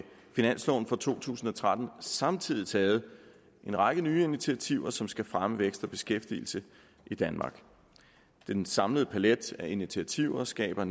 finansloven for to tusind og tretten har samtidig taget en række nye initiativer som skal fremme vækst og beskæftigelse i danmark den samlede palet af initiativer skaber